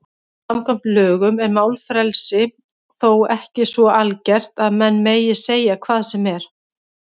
Samkvæmt lögum er málfrelsi þó ekki svo algert að menn megi segja hvað sem er.